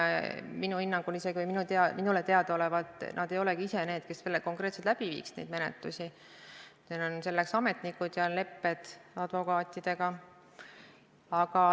Ja minu hinnangul või minule teada olevalt nad ei ole ka inimesed, kes ise konkreetselt läbi viiks neid menetlusi, neil on selleks ametnikud ja on lepingud advokaatidega.